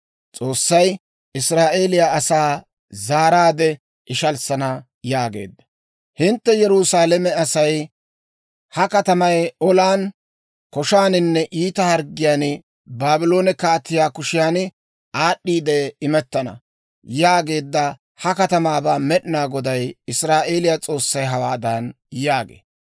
Hintte Yerusaalame asay, «Ha katamay olan, koshaaninne iita harggiyaan Baabloone kaatiyaa kushiyan aad'd'iide imettana» yaageedda ha katamaabaa Med'inaa Goday Israa'eeliyaa S'oossay hawaadan yaagee;